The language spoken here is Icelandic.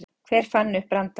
Hver fann upp brandarann?